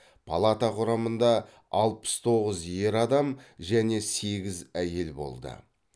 палата құрамында алпыс тоғыз ер адам және сегіз әйел болды